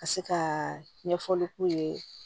Ka se ka ɲɛfɔli k'u ye